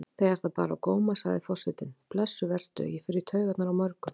Þegar það bar á góma sagði forsetinn: Blessuð vertu, ég fer í taugarnar á mörgum.